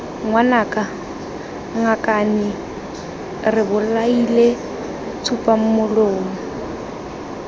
ngwanaka ngakane re bolaile tsupamolomo